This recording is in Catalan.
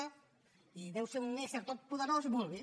i deu ser un ésser totpoderós vulguin